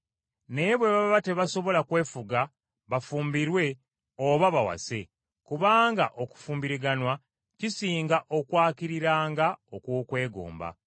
Naye bwe baba tebasobola kwefuga bafumbirwe, oba bawase, kubanga okufumbiriganwa kisinga okwakiriranga okw’okwegomba.